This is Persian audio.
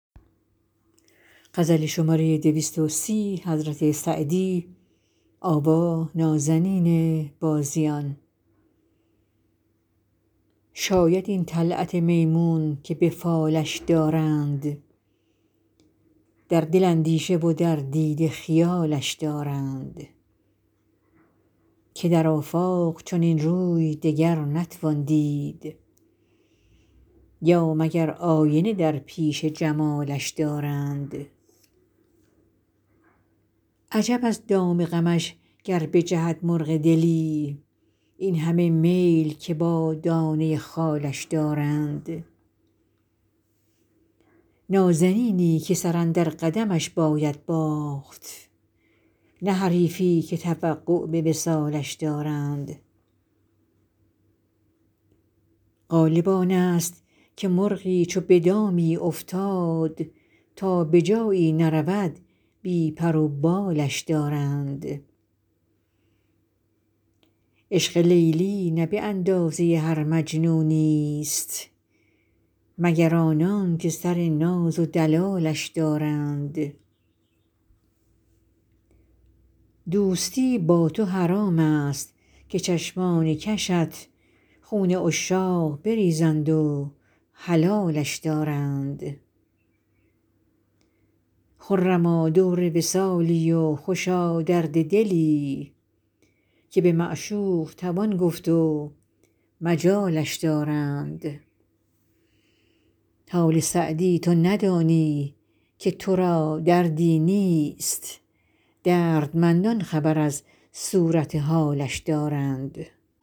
شاید این طلعت میمون که به فالش دارند در دل اندیشه و در دیده خیالش دارند که در آفاق چنین روی دگر نتوان دید یا مگر آینه در پیش جمالش دارند عجب از دام غمش گر بجهد مرغ دلی این همه میل که با دانه خالش دارند نازنینی که سر اندر قدمش باید باخت نه حریفی که توقع به وصالش دارند غالب آن ست که مرغی چو به دامی افتاد تا به جایی نرود بی پر و بالش دارند عشق لیلی نه به اندازه هر مجنونی ست مگر آنان که سر ناز و دلالش دارند دوستی با تو حرام ست که چشمان کشت خون عشاق بریزند و حلالش دارند خرما دور وصالی و خوشا درد دلی که به معشوق توان گفت و مجالش دارند حال سعدی تو ندانی که تو را دردی نیست دردمندان خبر از صورت حالش دارند